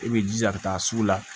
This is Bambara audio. I b'i jija ka taa sugu la